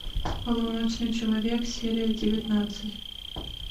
полуночный человек серия девятнадцать